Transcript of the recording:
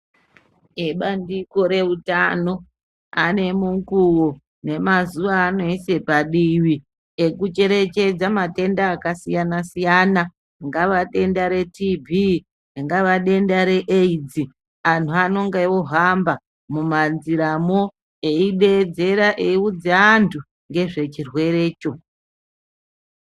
Vebandiko reutano vanemukuvo nemazuva evanoise padivi ekucherechedza matenda akasiyana siyana ringave denda re TB,ringava denda re Aids, antu anenge ohamba mumanjiramwo eideedzera, eiudza antu ngezve chirwerecho.